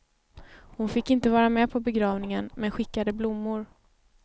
Hon fick inte vara med på begravningen men skickade blommor.